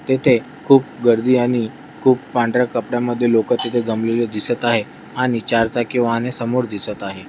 तेथे खूप गर्दी आणि खूप पांढर्‍या कपडा मध्ये लोक तिथ जमलेले दिसत आहे आणि चार चाकी वाहने समोर दिसत आहे.